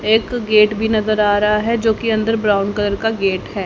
एक गेट भी नजर आ रहा है जो की अंदर ब्राउन कलर का गेट है।